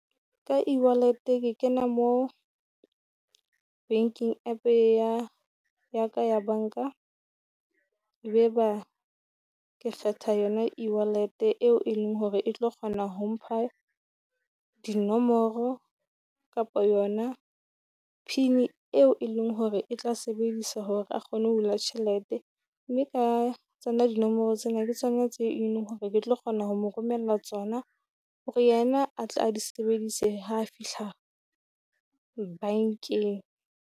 Ka eWallet ke kena mo banking app ya ya ka ya banka, e beba ke kgetha yona eWallet eo e leng hore e tlo kgona ho mpha dinomoro kapo yona pin eo e leng hore e tla sebediswa hore a kgone ho hula tjhelete. Mme ka tsona dinomoro tsena ke tsona tse e leng hore ke tlo kgona ho mo romella tsona hore yena a tle a di sebedise ha fihla bankeng.